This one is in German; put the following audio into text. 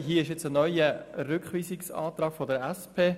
Hier gibt es nun einen neuen Rückweisungsantrag der SP.